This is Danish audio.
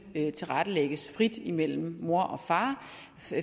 tilrettelægges frit imellem mor og far